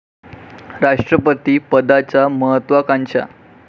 राष्ट्रपती पदाच्या महत्त्वाकांक्षा